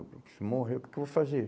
Se morrer, o que que eu vou fazer?